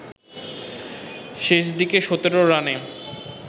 শেষ দিকে ১৭ রানে